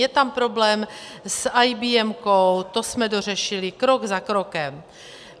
Je tam problém s IBM, to jsme dořešili krok za krokem.